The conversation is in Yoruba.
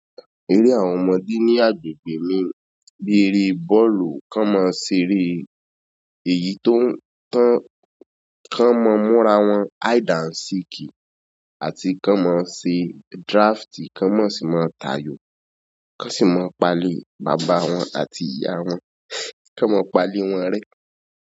Eré àwọn ọmọdé ní agbègbè mi ni eré bọ́ọ̀lù, kán máa ń ṣeré, èyí tó ń tán, kán mọ múra wọn hide and seek àti kán mọ ṣe draft, kán mọ sì máa tayò, kán sì mọ palẹ̀ bàbá wọn àti ìyá wọn, kán mọ palẹ̀ wọn re.